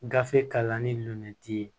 Gafe kalanni lon